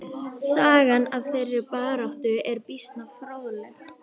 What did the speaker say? Sagan af þeirri baráttu er býsna fróðleg.